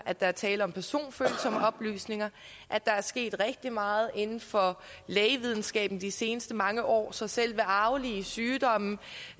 at der er tale om personfølsomme oplysninger at der er sket rigtig meget inden for lægevidenskaben de seneste mange år så selv ved arvelige sygdomme